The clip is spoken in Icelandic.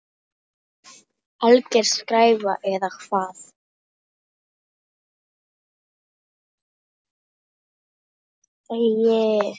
Alger skræfa eða hvað?